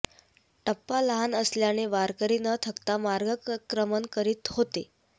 टप्पा लहान असल्याने वारकरी न थकता मार्गक्रमण करीत होते